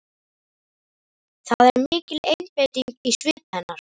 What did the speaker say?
Það er mikil einbeiting í svip hennar.